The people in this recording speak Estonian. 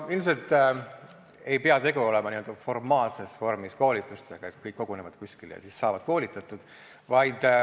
Ilmselt ei pea tegu olema n-ö formaalses vormis koolitustega, et kõik kogunevad kuskile ja siis saavad koolitatud.